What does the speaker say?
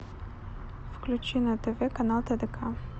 включи на тв канал тдк